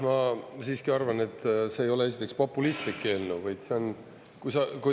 No ma siiski arvan, et see ei ole esiteks populistlik eelnõu, vaid see on …